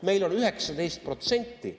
Meil on 19%.